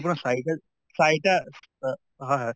আপোনাৰ চাৰিটা চাৰিটা এহ হয় হয়